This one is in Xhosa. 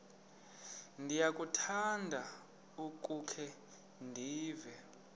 ndiyakuthanda ukukhe ndive